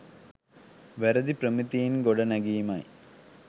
වැරදි ප්‍රමිතීන් ගොඩ නැගීමයි.